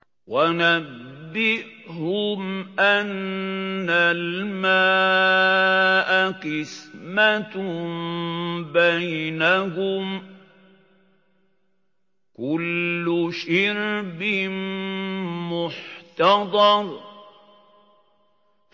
وَنَبِّئْهُمْ أَنَّ الْمَاءَ قِسْمَةٌ بَيْنَهُمْ ۖ كُلُّ شِرْبٍ مُّحْتَضَرٌ